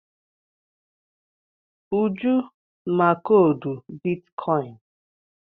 Uju ma koodu bitkọịn.